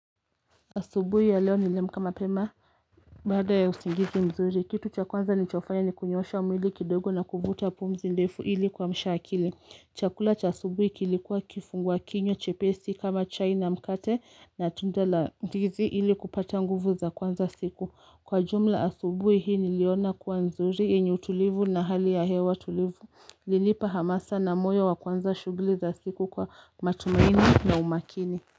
Asubui ya leo niliamuka mapema baada ya usingizi mzuri kitu cha kwanza nilichofanya ni kunyoosha mwili kidogo na kuvuta pumzi ndefu ili kuamsha akili chakula cha asubui kilikuwa kifungua kinyo chepesi kama chai na mkate na tunda la ndizi ili kupata nguvu za kuwanza siku kwa jumla asubui hii niliona kuwa nzuri yenye utulivu na hali ya hewa tulivu lilipa hamasa na moyo wa kwanza shuguli za siku kwa matumaini na umakini.